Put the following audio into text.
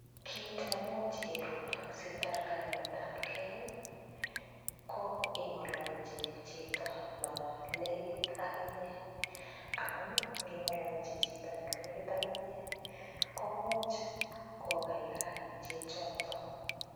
Kiit nemuch irup sitar kaimetabkei, ko ingololchi chito no lekit ak inye, amun ngingololchi chito ne lekit ak inye, komuch kokaikain chichoto.